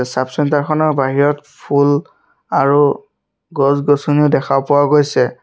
চাব -চেন্টাৰ খনৰ বাহিৰত ফুল আৰু গছ- গছনিও দেখা পোৱা গৈছে।